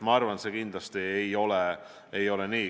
Ma arvan, et see kindlasti ei ole nii.